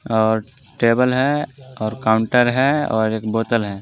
और टेबल है और काउंटर है और एक बोतल है।